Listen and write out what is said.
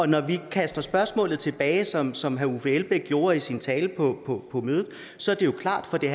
når vi kaster spørgsmålet tilbage som som herre uffe elbæk gjorde i sin tale på mødet så er det jo klart at det